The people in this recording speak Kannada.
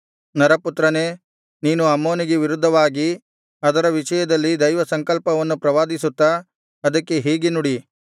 ನರಪುತ್ರನೇ ನೀನು ಅಮ್ಮೋನಿಗೆ ವಿರುದ್ಧವಾಗಿ ಅದರ ವಿಷಯದಲ್ಲಿ ದೈವಸಂಕಲ್ಪವನ್ನು ಪ್ರವಾದಿಸುತ್ತಾ ಅದಕ್ಕೆ ಹೀಗೆ ನುಡಿ